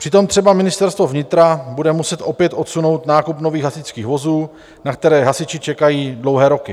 Přitom třeba Ministerstvo vnitra bude muset opět odsunout nákup nových hasičských vozů, na které hasiči čekají dlouhé roky.